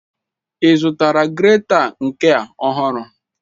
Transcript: Ị zụtara greta nke a ọhụrụ?